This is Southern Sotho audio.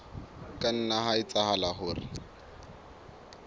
ka nna ha etsahala hore